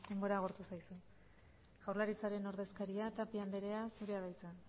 denbora agortu zaizu jaurlaritzaren ordezkaria tapia anderea zurea da hitza